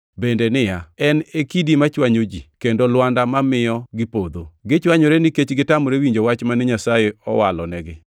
bende niya, “En e kidi machwanyo ji kendo lwanda mamiyo gipodho.” + 2:8 \+xt Isa 8:14\+xt* Gichwanyore nikech gitamore winjo wach mane Nyasaye owalonegi.